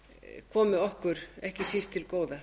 að komi okkur ekki síst til góða